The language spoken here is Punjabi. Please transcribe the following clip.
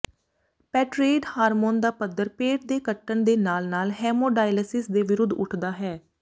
ਪੈਟਰੇਇਡ ਹਾਰਮੋਨ ਦਾ ਪੱਧਰ ਪੇਟ ਦੇ ਕੱਟਣ ਦੇ ਨਾਲ ਨਾਲ ਹੈਮੋਡਾਇਆਲਾਇਸਿਸ ਦੇ ਵਿਰੁੱਧ ਉੱਠਦਾ ਹੈ